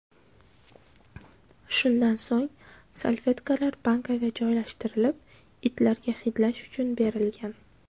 Shundan so‘ng salfetkalar bankaga joylashtirilib, itlarga hidlash uchun berilgan.